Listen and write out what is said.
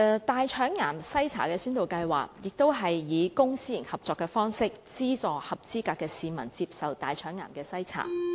大腸癌篩查先導計劃亦是以公私營合作的方式，資助合資格市民接受大腸癌篩查。